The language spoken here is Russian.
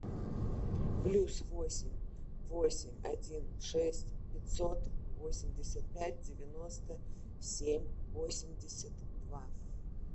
плюс восемь восемь один шесть пятьсот восемьдесят пять девяносто семь восемьдесят два